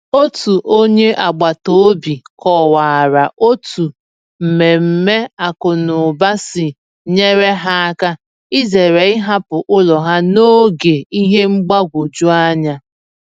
Otu onye agbata obi kọwara otu mmemme akụnụba si nyere ha áká izere ịhapụ ụlọ ha n’oge ihe mgbagwoju anya.